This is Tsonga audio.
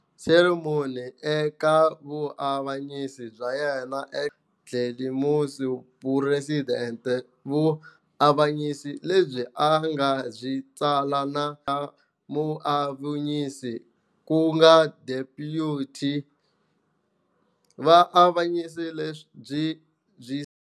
Cameron eka vuavanyisi bya yena e"Glenister v President", vuavanyisi lebyi a nga byi tsala na xa muavanyisi ku nga Deputy vaavanyisi lebyi byi.